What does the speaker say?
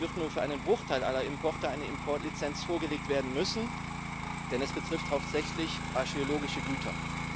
Es wird nur für einen Bruchteil aller Importe eine Importlizenz vorgelegt werden müssen, denn es betrifft hauptsächlich archäologische Güter.